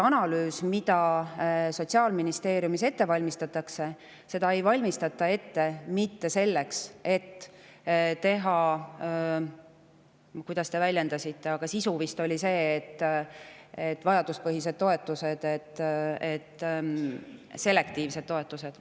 Analüüsi, mida Sotsiaalministeeriumis ette valmistatakse, ei valmistata ette selleks, et teha –, kuidas te end väljendasite, aga sisu oli vist see – vajaduspõhised, selektiivsed toetused.